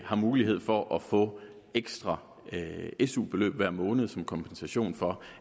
har mulighed for at få ekstra su beløb hver måned som kompensation for